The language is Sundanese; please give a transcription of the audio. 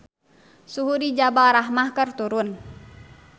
Suhu di Jabal Rahmah keur turun